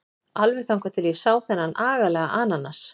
Alveg þangað til ég sá þennan agalega ananas.